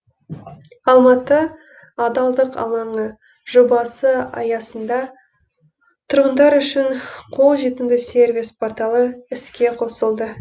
алматы адалдық алаңы жобасы аясында тұрғындар үшін қолжетімді сервис порталы іске қосылды